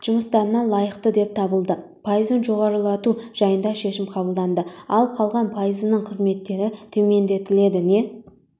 жұмыстарына лайықты деп табылды пайызын жоғарылату жайында шешім қабылданды ал қалған пайызының қызметтері төмендетіледі не